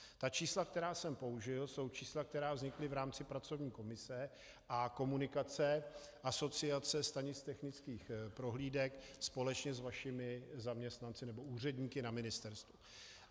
Ta čísla, která jsem použil, jsou čísla, která vznikla v rámci pracovní komise a komunikace asociace stanic technických prohlídek společně s vašimi zaměstnanci nebo úředníky na ministerstvu.